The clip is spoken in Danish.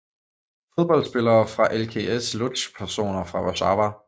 Fodboldspillere fra LKS Łódź Personer fra Warszawa